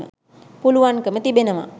පුළුවන්කම තිබෙනවා